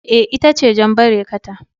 Eh, ita ce jan barekata